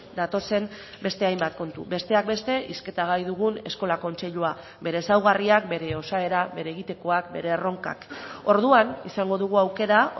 datozen beste hainbat kontu besteak beste hizketa gai dugun eskola kontseilua bere ezaugarriak bere osaera bere egitekoak bere erronkak orduan izango dugu aukera